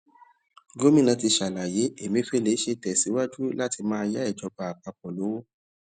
gómìnà ti ṣàlàyé emefiele ṣe tèsíwájú láti máa yá ìjọba àpapò lówó